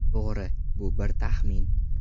To‘g‘ri, bu bir taxmin.